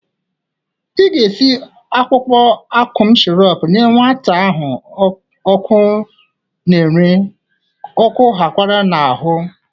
Ị ga-esi akwụkwọ akọm shọrọp nye nwa a ahụ ọkụ n'ere, ọkụụ ghakwara n'ahụ!